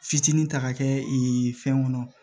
Fitinin ta ka kɛ fɛn kɔnɔ